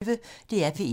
DR P1